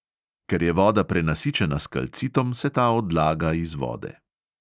Ker je voda prenasičena s kalcitom, se ta odlaga iz vode.